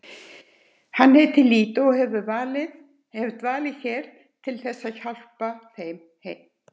Hann heitir Lídó og hefur dvalið hérna til að hjálpa þeim.